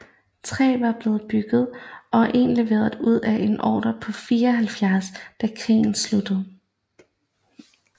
Tre var blevet bygget og en leveret ud af en ordre på 74 da krigen sluttede